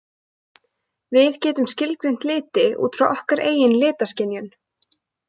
Við getum skilgreint liti út frá okkar eigin litaskynjun.